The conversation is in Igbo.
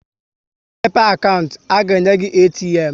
Ị mepe akantị, a ga-enye gị ATM